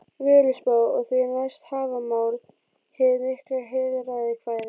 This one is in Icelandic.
Völuspá, og því næst Hávamál, hið mikla heilræðakvæði.